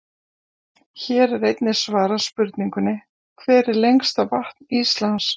Hér er einnig svarað spurningunni: Hvert er lengsta vatn Íslands?